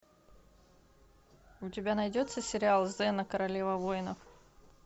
у тебя найдется сериал зена королева воинов